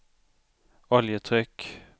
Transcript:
oljetryck